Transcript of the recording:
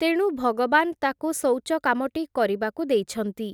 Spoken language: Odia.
ତେଣୁ ଭଗବାନ୍ ତାକୁ ଶୌଚ କାମଟି କରିବାକୁ ଦେଇଛନ୍ତି ।